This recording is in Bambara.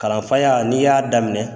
Kalanfaya n'i y'a daminɛ